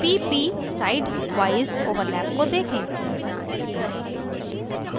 pp sideवाइज overlap को देखें